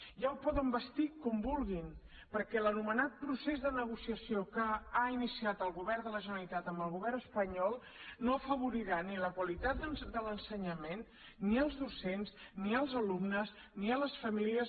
ja ho poden vestir com vulguin perquè l’anomenat procés de negociació que ha iniciat el govern de la generalitat amb el govern espanyol no afavorirà ni la qualitat de l’ensenyament ni els docents ni els alumnes ni les famílies